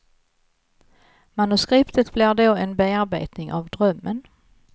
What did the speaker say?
Manuskriptet blir då en bearbetning av drömmen.